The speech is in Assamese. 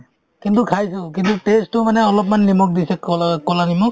কিন্তু খাইছো কিন্তু test তো মানে অলপমান নিমখ দিছে ক'লাত~ ক'লা নিমখ